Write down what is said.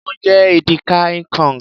Mo jẹ edi ka ikong.